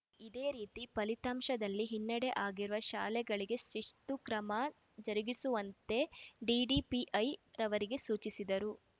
ಇದೇ ರೀತಿ ಫಲಿತಾಂಶದಲ್ಲಿ ಹಿನ್ನಡೆಯಾಗಿರುವ ಶಾಲೆಗಳಿಗೆ ಶಿಸ್ತು ಕ್ರಮ ಜರುಗಿಸುವಂತೆ ಡಿಡಿಪಿಐ ರವರಿಗೆ ಸೂಚಿಸಿದರು